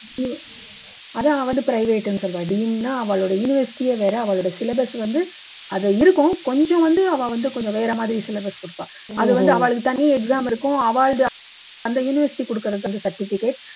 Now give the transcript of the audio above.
அதாவது வந்து private னு சொல்லுவா deemed ன்னா அவாளோட university ஏ வேற அவாளோட syllabus வந்து அது இருக்கும் கொஞ்சூண்டு அவா வந்து கொஞ்சம் வேற மாதிரி syllabus கொடுப்பா அது வந்து அவாளுக்கு தனி exam இருக்கும் அவா அந்த university கொடுக்குற certificate